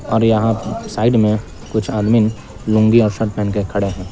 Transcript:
और यहां साइड में कुछ आदमीन लुंगी और शर्ट पहन के खड़े हैं।